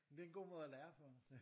Jamen det er en god måde at lære på nu